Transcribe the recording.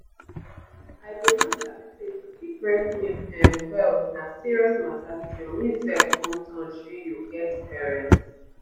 i bin no sabi say to keep breast milk ehm well na serious mata till me sef come turn shey you get parent.